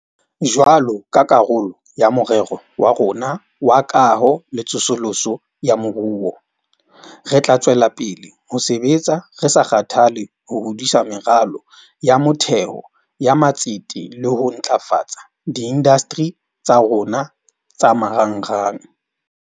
Jwalo ka karolo ya Morero wa rona wa Kaho le Tsosoloso ya Moruo, re tla tswela pele ho sebetsa re sa kgathale ho hodisa meralo ya motheo ya matsete le ho ntlafatsa diindasteri tsa rona tsa marangrang.